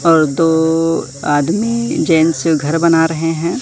और दो आदमी जेंट्स घर बना रहे हैं।